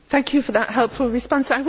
Thank you for that helpful response.